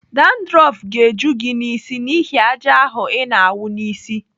Dandrọf ga-eju gị n'isi n'ihi àjà ahụ ị na-awụ n'isi.